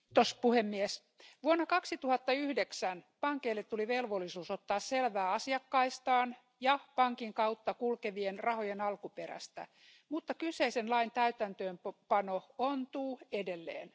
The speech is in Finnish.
Arvoisa puhemies, vuonna 2009 pankeille tuli velvollisuus ottaa selvää asiakkaistaan ja pankin kautta kulkevien rahojen alkuperästä, mutta kyseisen lain täytäntöönpano ontuu edelleen.